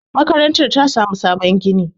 makarantar ta samu sabon gini